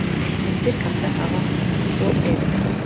Litlir katlar hafa og eyru.